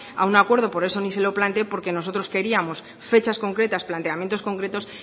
a un acuerdo por eso ni se lo planteé porque nosotros queríamos fechas concretas planteamientos concretos